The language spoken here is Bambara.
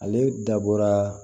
Ale dabɔra